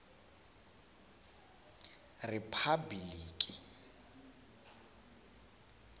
riphabiliki